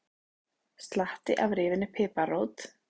Slatti af rifinni piparrót